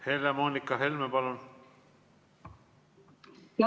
Helle-Moonika Helme, palun!